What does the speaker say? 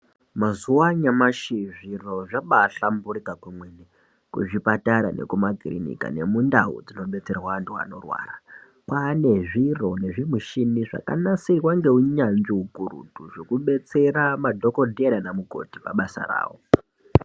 Mazuwa anaa zviro zvambaahlamburuka kwemene muzvipatara nemumakirinika nekundau ndinobetsera vanorwara. Kwaane zviro nezvimishini zvakanasirwa ngeunyanzvi ukurutu zvekubetsere madhokodheya naanamukoti pabàsa ravo.